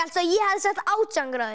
ég hefði sagt átján gráður